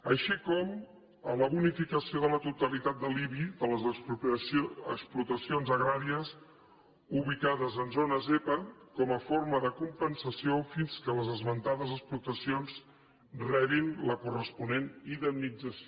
així com la bonificació de la totalitat de l’ibi de les explotacions agràries ubicades en zones zepa com a forma de compensació fins que les esmentades explotacions rebin la corresponent indemnització